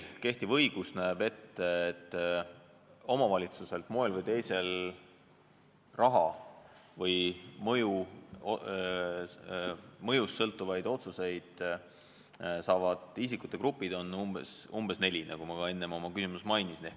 Kehtiv õigus näeb ette, et isikute gruppe, kes saavad omavalitsuselt moel või teisel raha või kes on seotud mõjust sõltuvate otsustega, on umbes neli, nagu ma enne oma küsimuses mainisin.